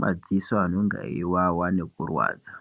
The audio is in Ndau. madziso anenge eiwawa nekurwadza.